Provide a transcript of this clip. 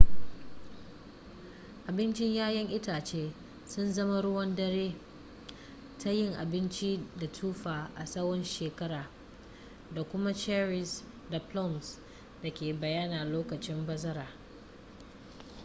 abincin 'ya'yan itace sun zama ruwan dare ta yin abinci da tufa a tsawon shekara da kuma cherries da plums da ke bayyana lokacin bazara